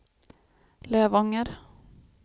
Lövånger